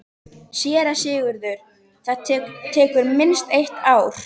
SÉRA SIGURÐUR: Það tekur minnst eitt ár.